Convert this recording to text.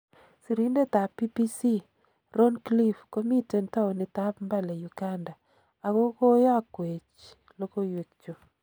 Sirindet tab BBC Roncliffe komiten townit ab Mbale Uganda ako koyokwech logoiwek chu.